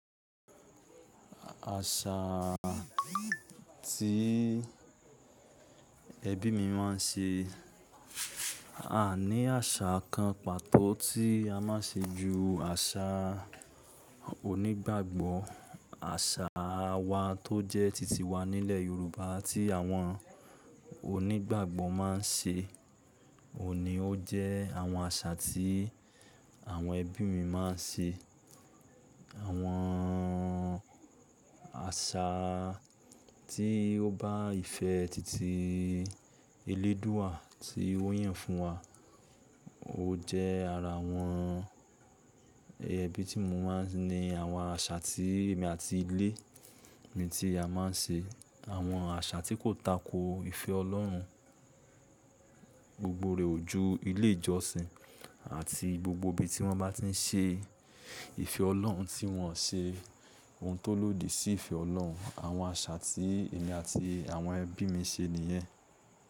Àṣà tí ẹbí mi máa ń ṣe, a ní àṣà kan pàtó tí a máa ń ṣe ju àṣà onígbàgbọ́, àṣà wa tó jẹ́ titi wa nílẹ̀ Yorùbá tí àwọn onígbàgbọ́ máa ń ṣe, òun ni ó jẹ́ àwọn àṣà tí àwọn ẹbí mi máa ń ṣe. Àwọn àṣà tí ó bá ìfẹ́ titi eléédúà tí ó yàn fún wa, ó jẹ́ ara àwọn ẹbí tí mo mọ̀ ni àwọn àṣà tí èmi àti ilé mi tí a máa ń ṣe. Àwọn àṣà tí kò tako ìfẹ́ Ọlọ́run gbogbo rẹ̀ ojú ilé ìjọsìn àti gbogbo ibi tí wọ́n bá ti ń ṣe ìfẹ́ Ọlọ́run tí wọn ṣe oun tó lòdì sí ìfẹ́ Ọlọ́run. Àwọn àṣà tí èmi àti àwọn ẹbí mi ṣe nìyẹn.